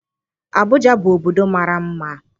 Abụja bụ obodo mara mma.